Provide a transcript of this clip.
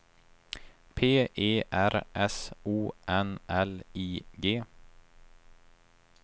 P E R S O N L I G